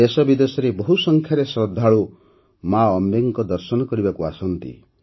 ଦେଶବିଦେଶର ବହୁ ସଂଖ୍ୟାରେ ଶ୍ରଦ୍ଧାଳୁ ମା ଅମ୍ବେଙ୍କ ଦର୍ଶନ କରିବାକୁ ଆସନ୍ତି